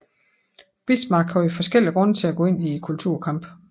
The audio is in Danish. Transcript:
Bismarck havde forskellige grunde til at gå ind i kulturkampen